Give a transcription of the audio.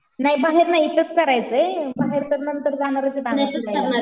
नाही बाहेर नाही इथंच करायचंय. बाहेर तर नंतर जाणारचे बाहेर फिरायला